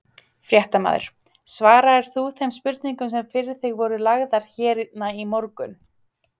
Fréttamaður: Svaraðir þú þeim spurningum sem fyrir þig voru lagðar hérna í morgun?